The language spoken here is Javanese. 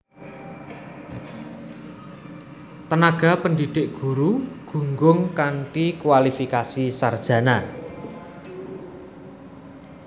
Tenaga pendidik guru gunggung kanthi kuwalifikasi sarjana